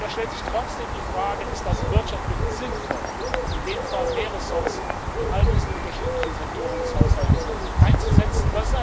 Aber da stellt sich trotzdem die Frage Ist das wirtschaftlich sinnvoll, in dem Fall mehr Ressourcen in all diesen unterschiedlichen Sektoren des Haushaltes einzusetzen?